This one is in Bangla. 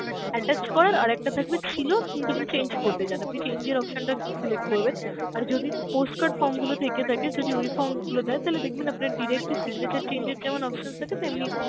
attach করার, আর একটা থাকবে ছিল কিন্তু আপনি change করতে চান আপনি change এর option টা select করবেন. আর যদি post-card form গুলো থেকে থাকে, যদি ওই form গুলো দেয় তাহলে দেখবেন আপনার direct ই signature change এর যেমন options থাকে তেমনি